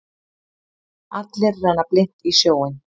Allir renna blint í sjóinn.